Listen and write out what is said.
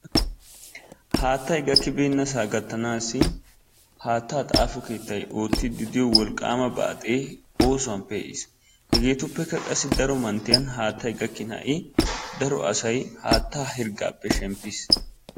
Haattay gakkibeennasaa gattanaassi haattaa xaafo keettay oottiiddi diyo wolqqaama baaxee oosuwan pee'is. Hegeetuppekka qassi daro manttiyan haattay gakkin ha'i daro asay haattaa hirggaappe shemppis.